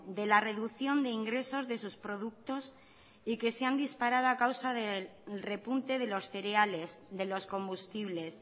de la reducción de ingresos de sus productos y que se han disparado a causa del repunte de los cereales de los combustibles